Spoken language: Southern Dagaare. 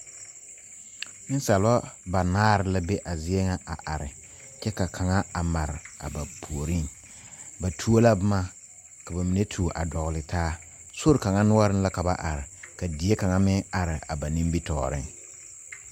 Nensaaleba banaare la be a zie ŋa a are kyɛ ka kaŋa a mare a ba puoriŋ ba tuo la boma ka ba mine a tuo dogli taa sori kaŋa noɔreŋ la ka ba are ka die kaŋa meŋ are a ba.nimitɔɔreŋ.